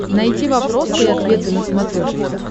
найти вопросы и ответы на смотрешке